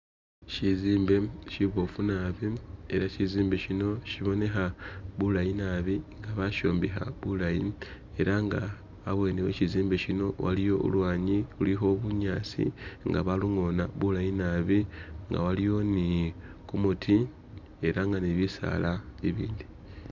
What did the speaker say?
Shizimbe shiboofu naabi ela shizimbe shino shibonekha bulayi naabi nga bashombekha bulayi ela inga habwene khe shizimbe shino waliwo ulwanyi lulikho bunyaasi nga balungona bulayi naabi nga waliwo ni gumuti elanga ni bisaala biliwo.